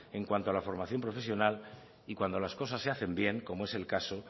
en cuanto a la formación profesional y cuando las cosas se hacen bien como es el caso